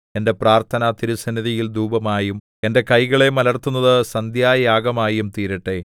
എന്റെ പ്രാർത്ഥന തിരുസന്നിധിയിൽ ധൂപമായും എന്റെ കൈകളെ മലർത്തുന്നത് സന്ധ്യായാഗമായും തീരട്ടെ